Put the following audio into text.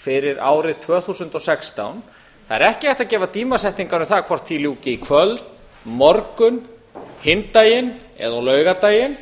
fyrir árið tvö þúsund og sextán það er ekki hægt að gefa tímasetningar um það hvort því ljúki í kvöld á morgun hinn daginn eða á laugardaginn